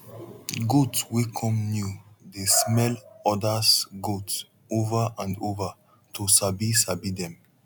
goat wey come new dey smell odas goat ova and ova to sabi sabi dem